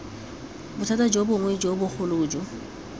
bothata bongwe jo bogolo jo